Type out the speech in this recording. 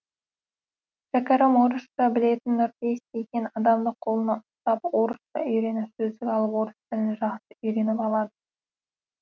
шәкәрім орысша білетін нұрпейіс деген адамды қолына ұстап орысша үйреніп сөздік алып орыс тілін жақсы үйреніп алады